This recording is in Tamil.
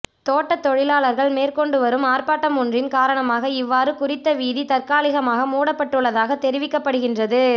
தோட்டத் தொழிலாளர்கள் மேற்கொண்டு வரும் ஆர்ப்பாட்டம் ஒன்றின் காரணமாக இவ்வாறு குறித்த வீதி தற்காலிகமாக மூடப்பட்டுள்ளதாக தெரிவிக்கப்படுகின்றது